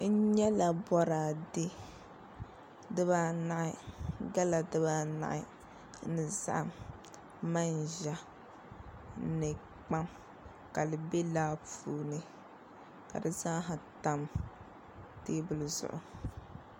N nyɛla boraadɛ dibaanahi gala dibaanahi ni zaham manʒa ni kpam ka di bɛ laa puuni ka di zaaha tam teebuli zuɣu